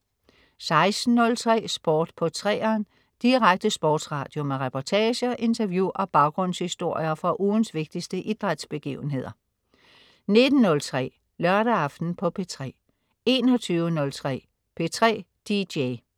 16.03 Sport på 3'eren. Direkte sportsradio med reportager, interview og baggrundshistorier fra ugens vigtigste idrætsbegivenheder 19.03 Lørdag aften på P3 21.03 P3 DJ